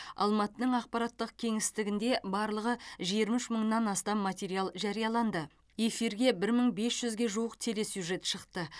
алматының ақпараттық кеңістігінде барлығы жиырма үш мыңнан астам материал жарияланды эфирге бір мың бес жүзге жуық телесюджет шықты